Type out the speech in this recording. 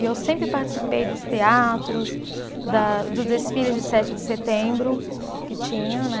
E eu sempre participei dos teatros, da dos desfiles de sete de setembro que tinha, né?